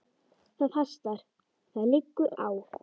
Það hastar: það liggur á.